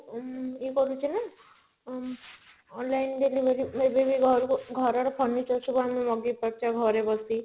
ଉଁ ଇଏ କରୁଛି ନା ଅ online delivery ଏବେ ବି ଘରକୁ ଘର ର furniture ସବୁ ଆମେ ମଗେଇ ପାରୁଚେ ଘରେ ବସିକି